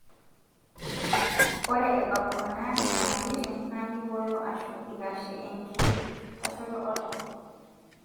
ore abaak kuna nyamalitin na kiboyo ashu ikashie engitashoto oltau